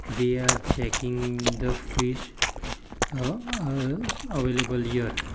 they are checking the fish uhh uhh available here.